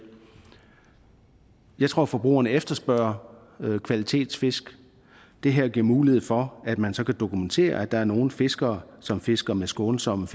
jeg tror at forbrugerne efterspørger kvalitetsfisk det her giver mulighed for at man så kan dokumentere at der er nogle fiskere som fisker med skånsomme